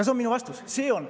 See on minu vastus.